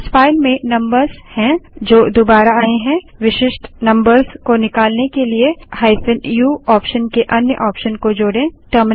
इस फाइल में नम्बर्स हैं जो दुबारा आए हैं विशिष्ट नम्बर्स को निकालने के लिए -u ऑप्शन के अन्य ऑप्शन को जोड़ें